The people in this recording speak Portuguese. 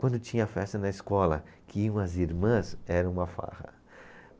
Quando tinha festa na escola, que iam as irmãs, era uma farra.